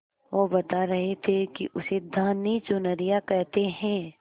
वो बता रहे थे कि उसे धानी चुनरिया कहते हैं